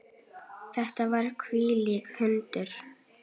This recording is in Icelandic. Þetta voru þvílík undur.